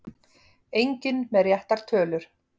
Enginn með réttar tölur